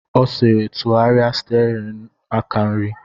Ọ sịrị, tụgharịa stiarin aka nri!